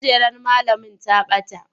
Kujerar malamin ta bata.